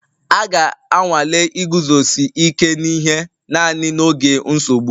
A ga-anwale iguzosi ike n'ihe naanị n'oge nsogbu